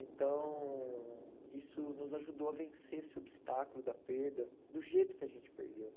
Então, isso nos ajudou a vencer esse obstáculo da perda do jeito que a gente perdeu.